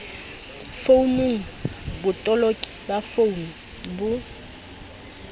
founung botoloki ba founu bo